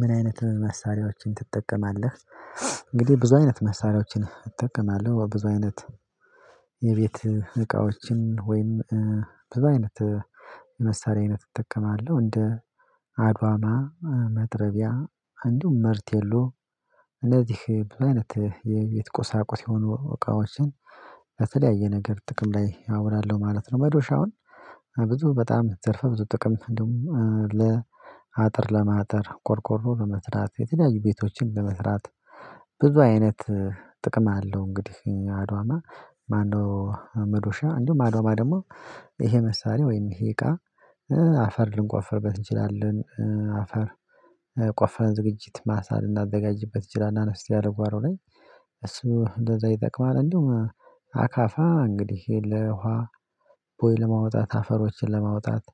ምን አይነት መሳሪያዎችን ትጠቀማለህ? እንግዲህ ብዙ አይነት መሳሪያዎችን እጠቀማለሁ ብዙ አይነት የቤት እቃዎችን ወይም ብዙ አይነት የመሳሪያ አይነት እጠቀማለሁ እንደ አድዋማ መጥረቢያ እንዲሁ መርቴሎ እነዚህ ብዙ አይነት የቤት ቁሳቁስ የሆኑ እቃዎችን በተለያየ ነገር ጥቅም ላይ አውላለሁ ማለት ነው። መዶሽ አሁን ብዙ በጣም ዘርፈ ብዙ ጥቅም እንደውም ለአጥር ለማጠር ቆርቆሮ ለመስራት የተለያዩ ቤቶችን ለመስራት ብዙ አይነት ጥቅም አለው። እንግዲህ እኛ አድዋማ ማነው መዶሻ እንዲሁም አድዋማ ደግሞ ይሄ መሳሪያ ወይም ይሄ እቃ አፈር ልንቆፈርበት እንችላለን አፈር ቆፊረን ዝግጅት ማሳ ልናዘጋጅበት እችላለን አነስ ያለ ጓሮ ላይ እሱ እንደዛ ይጠቅማል። እንዲውም አካፋ እንግዲህ ለ ውሃ ቦይ ለማውጣት አፈሮችን ለማውጣት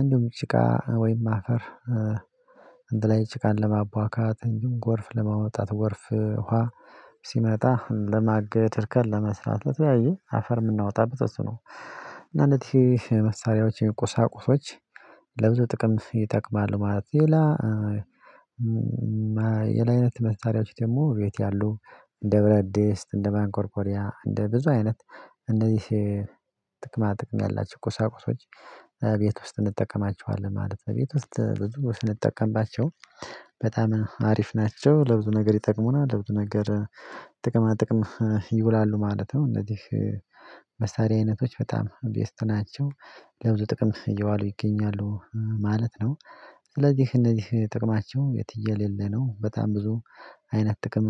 እንዲሁም ጭቃ ወይም አፈር እንደላይ ጭቃን ለማቧካት እንዲሁም ጎርፍ ለማወጣት ጎርፍ ውሃ ሲመጣ ለማገድ እርከን ለመስራት ለተያየ አፈር የምናወጣበት በሱ ነው። እና እነዚህ መሳሪያዎችን ቁሳቁሶች ለብዙ ጥቅም ይጠቅማል ማለት ነው። ሌላ የላ አይነት መሳሪያችሁ ደግሞ ቤት ያሉ እንደ ብረድስት እንደ ማንኮርኮሪያ እንደ ብዙ አይነት እንደዚህ ጥቅማ ጥቅም ያላቸው ቁሳቁሶች ቤት ውስጥ እንጠቀማቸዋለን ማለት ነው። ቤት ውስጥ ብዙ ስንጠቀምባቸው በጣም አሪፍ ናቸው ለብዙ ነገር ይጠቅሙና ለብዙ ነገር ጥቅማ ጥቅም ይውላሉ ማለት ነው። እነዚህ መሳሪያ አይነቶች በጣም ቤስት ናቸው ለብዙ ጥቅም እየዋሉ ይገኛሉ ማለት ነው። ስለዚህ እነዚህ ጥቅማቸው የትየሌለ ነው በጣም ብዙ አይነት ጥቅም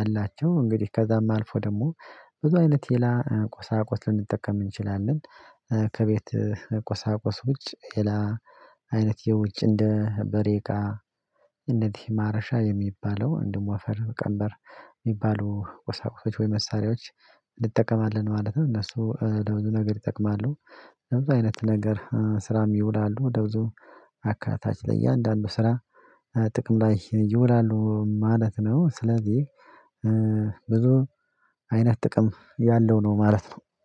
አላቸው። እንግዲህ ከዛም አልፎ ደግሞ ብዙ አይነት ሌላ ቁሳቁስ ልንጠቀም እንችላለን ከቤት ቆሳቆስ ውጭ ሌላ አይነት የውጭ እንደ በሬቃ እንደዚህ ማረሻ የሚባለው እንደው አፈር ቀምበር የሚባሉ ወሳቁሶች ወይ መሳሪያዎች እንጠቀማለን ማለት ነው። እነሱ ለብዙ ነገር ይጠቅማሉ ለብዙ አይነት ነገር ስራም ይውላሉ ወደ ብዙ አካታች ለእያንዳንዱ ስራ ጥቅም ላይ ይውላሉ ማለት ነው። ስለዚህ ብዙ አይነት ጥቅም ያለው ነው ማለት ነው